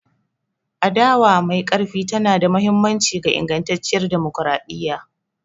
Adawa mai ƙarfi tana da mahimmanci ga ingantacciyar dimokuradiyya.